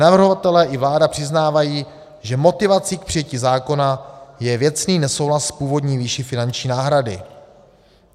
Navrhovatelé i vláda přiznávají, že motivací k přijetí zákona je věcný nesouhlas s původní výší finanční náhrady.